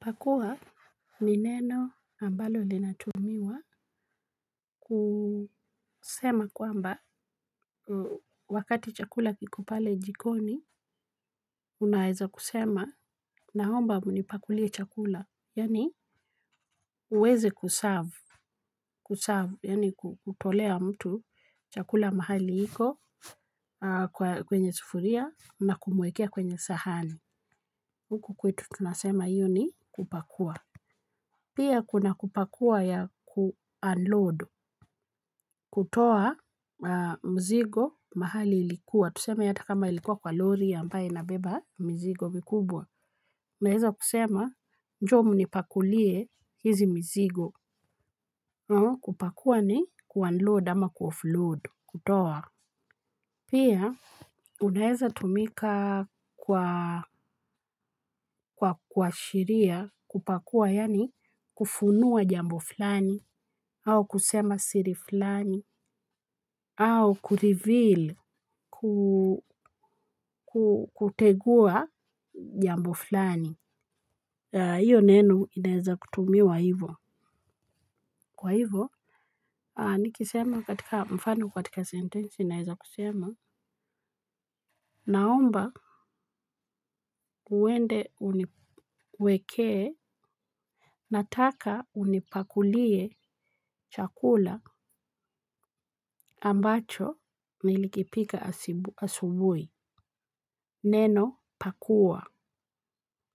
Pakua ni neno ambalo linatumiwa kusema kwamba wakati chakula kiko pale jikoni. Unaweza kusema naomba mnipakulie chakula yani uweze kuserve kuserve yani kutolea mtu chakula mahali iko kwenye sufuria na kumuwekea kwenye sahani huku kwetu tunasema hiyo ni kupakua. Pia kuna kupakua ya ku unload. Kutoa mzigo mahali ilikuwa. Tusema hata kama ilikuwa kwa lori ambaye inabeba mizigo mikubwa. Unaweza kusema njoo mnipakulie hizi mizigo. Kupakua ni ku unload ama ku offload. Kutoa. Pia, unaweza tumika kwa kwa kwa sheria kupakua, yani kufunua jambo flani, au kusema siri flani, au ku reveal, ku kutegua jambo flani. Iyo neno inaweza kutumiwa hivo. Kwa hivyo, nikisema katika mfano katika sentensi naweza kusema. Naomba, uende uniwekee. Nataka unipakulie chakula ambacho nilikipika asibu asubuhi. Neno, pakua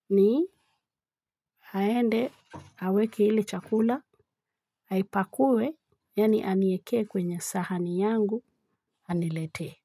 ni, aende, aweke ile chakula, aipakue, yani aniwekee kwenye sahani yangu, aniletee.